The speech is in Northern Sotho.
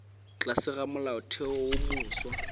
tlase ga molaotheo wo mofsa